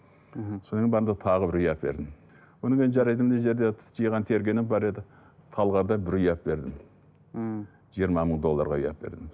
мхм содан бардым да тағы бір үй әпердім одан кейін жарайды мына жерде жиған тергенім бар еді талғардан бір үй әпердім мхм жиырма мың долларға үй әпердім